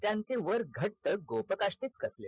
त्यांचे वर घट्ट गोप काष्टीत कसले